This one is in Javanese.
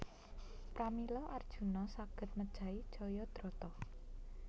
Pramila Arjuna saged mejahi Jayadrata